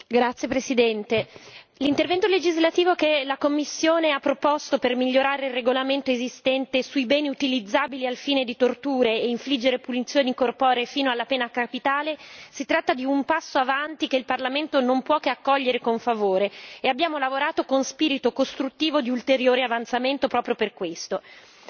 Signor Presidente, onorevoli colleghi, l'intervento legislativo che la Commissione ha proposto per migliorare il regolamento esistente sui beni utilizzabili al fine di infliggere torture e punizioni corporee fino alla pena capitale rappresenta un passo avanti, che il Parlamento non può che accogliere con favore, e abbiamo lavorato con spirito costruttivo di ulteriore avanzamento proprio per questo.